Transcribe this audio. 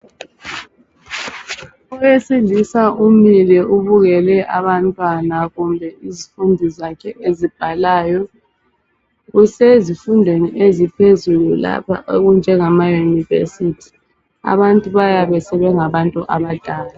Owesilisa umile ubukele abantwana kumbe izifundi zakhe ezibhalayo. Kusezifundweni eziphezulu lapha okunjengama yunivesithi. Abantu bayabe sebengabantu abadala.